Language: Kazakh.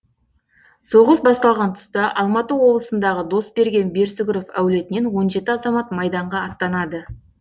соғыс басталған тұста алматы облысындағы досберген берсүгіров әулетінен он жеті азамат майданға аттанады